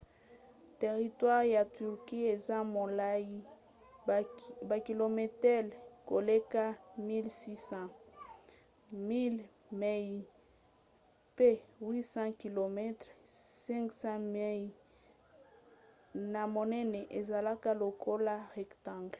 teritware ya turquie eza molai bakilometele koleka 1 600 1 000 mi pe 800 km 500 mi na monene ezalaka lokola rectangle